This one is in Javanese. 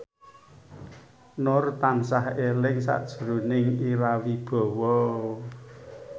Nur tansah eling sakjroning Ira Wibowo